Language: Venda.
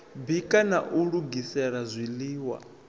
bika na u lugisela zwiḽiwa